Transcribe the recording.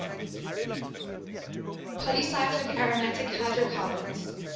polycyclic aromatic hydrocarbons